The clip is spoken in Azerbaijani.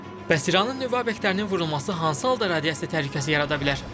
Bəs İranın nüvə obyektlərinin vurulması hansı halda radiasiya təhlükəsi yarada bilər?